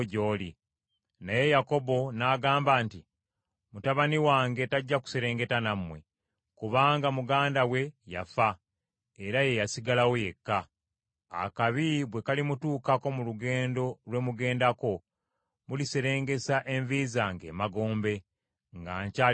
Naye Yakobo n’agamba nti, “Mutabani wange tajja kuserengeta nammwe, kubanga muganda we yafa, era ye y’asigalawo yekka. Akabi bwe kalimutuukako mu lugendo lwe mugendako, muliserengesa envi zange emagombe nga nkyali munakuwavu.”